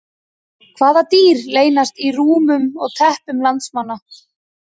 Hvaða dýr leynast í rúmum og teppum landsmanna?